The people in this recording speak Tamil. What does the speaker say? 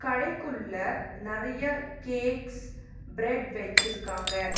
கடைக்குள்ள நெறைய கேக்ஸ் பிரட் வெச்சிருக்காங்க.